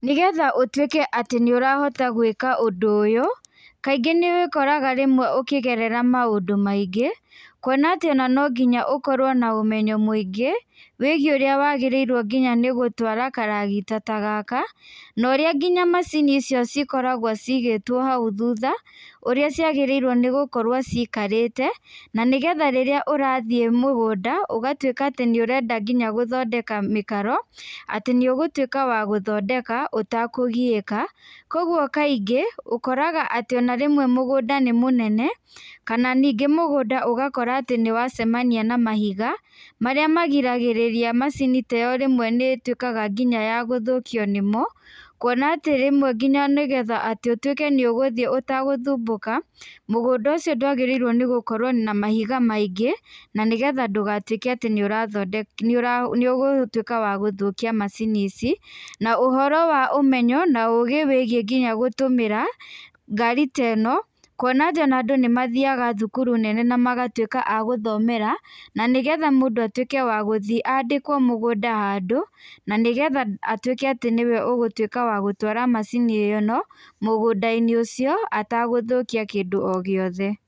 Nĩ getha ũtuĩke atĩ nĩ ũrahota gwĩka ũndũ ũyũ, kaingĩ nĩ wĩkoraga rĩmwe ũkĩgerera maũndũ maingĩ, kuona atĩ ona no nginya ũkorwo na ũmenyo mũingĩ, wĩgiĩ ũrĩa wagĩrĩirwo nginya nĩ gũtwara karagita ta gaka, norĩa nginya macini icio cikoragwo cigĩtwo hau thuta, ũrĩa ciagĩrĩirwo nĩ gũkorwo cikarĩte, na nĩgetha rĩrĩa ũrathiĩ mũgũnda, ũgatwĩka nginya nĩ ũrenda nginya gũthondeka mĩkaro, atĩ nĩũgũtuĩka wa gũthondeka ũtakũgiĩka. Koguo kaingĩ ũkoraga atĩ ona rĩmwe mũgunda nĩ mũnene, kana ningĩ mũgũnda ũgakora atĩ nĩ wacemania na mahiga, marĩa magiragĩrĩria macini teyo rĩmwe nĩ ĩtuĩkaga nginya ya gũthũkio nĩmo, kuona atĩ rĩmwe nginya nĩgetha atĩ ũtuĩke nĩ ũgũthiĩ ũtagũthumbũka, mũgũnda ũcio ndwagĩrĩirwo nĩ gũkorwo na mahiga maingĩ, na nĩgetha ndũgatwĩke atĩ nĩũrathondeka nĩ ũgũtuĩka wa gũthũkia macini ici. Na ũhoro wa ũmenyo naũgĩ wĩgiĩ nginya gũtũmĩra ngaari teno, kuona atĩ ona andũ nĩ mathiaga thukuru nene na magatuĩka agũthomera, na nĩgetha mũndũ atuĩke wa gũthiĩ andĩkwo mũgũnda handũ, na nĩgetha atuĩke atĩ nĩwe ũgũtuĩka wa gũtwara macini ĩno, mũgũnda-inĩ ũcio atagũthũkia kĩndũ o gĩothe.